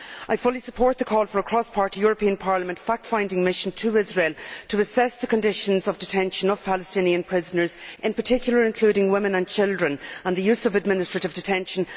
I fully support the call for a cross party European Parliament fact finding mission to Israel to assess the conditions of detention of Palestinian prisoners, in particular women and children, and the use of administrative detention.